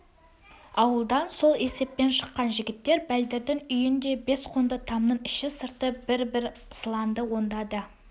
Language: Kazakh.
ауылдан сол есеппен шыққан жігіттер бәлдірдің үйін де бес қонды тамның іші-сырты бір-бір сыланды онда да